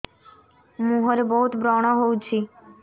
ମୁଁହରେ ବହୁତ ବ୍ରଣ ହଉଛି